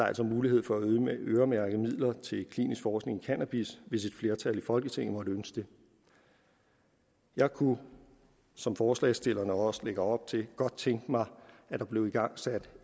altså mulighed for at øremærke midler til klinisk forskning i cannabis hvis et flertal i folketinget måtte ønske det jeg kunne som forslagsstillerne også lægger op til godt tænke mig at der blev igangsat